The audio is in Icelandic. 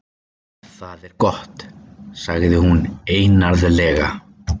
Það er gott- sagði hún einarðlega.